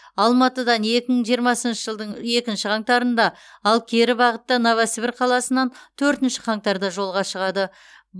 алматыдан екі мың жиырмасыншы жылдың екінші қаңтарында ал кері бағытта новосібір қаласынан төртінші қаңтарда жолға шығады